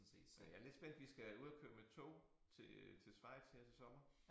Men jeg lidt spændt vi skal ud og køre med tog til øh til Schweiz her til sommer